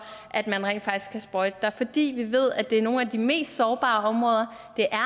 at man rent faktisk kan sprøjte der fordi vi ved at det er nogle af de mest sårbare områder